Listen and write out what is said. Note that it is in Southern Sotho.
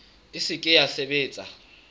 e se ke ya sebetsa